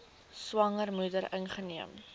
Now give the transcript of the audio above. swanger moeder ingeneem